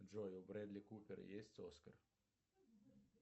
джой у бредли купер есть оскар